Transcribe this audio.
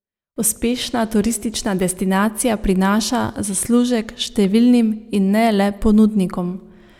Uspešna turistična destinacija prinaša zaslužek številnim in ne le ponudnikom.